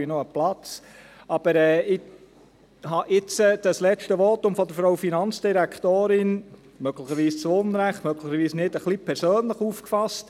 Ich habe das letzte Votum der Finanzdirektorin – möglicherweise zu Unrecht, möglicherweise nicht – ein bisschen persönlich aufgefasst.